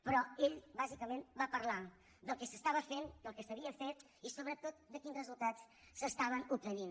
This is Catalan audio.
però ell bàsicament va parlar del que s’estava fent del que s’havia fet i sobretot de quin resultat s’estava obtenint